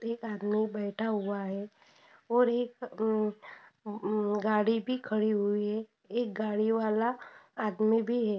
एक आदमी बैठा हुया है। और एक अ गाडी भी रखी हुई है। एक गाडी वाला आदमी भी है।